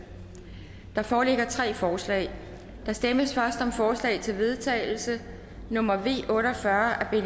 der foreligger tre forslag der stemmes først om forslag til vedtagelse nummer v otte og fyrre af